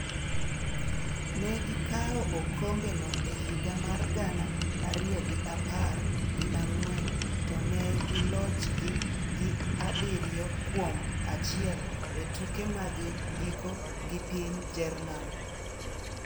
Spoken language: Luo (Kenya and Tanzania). Ne gikawo okombeno e higa mar gana ariyo gi apar gi ang'wen to ne gilochgi gi abiriyo kuom achiel e tuke mag giko gi piny Jerman.